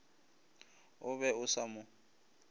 o be o sa mo